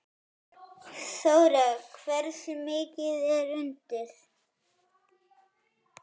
Þóra: Hversu mikið er undir?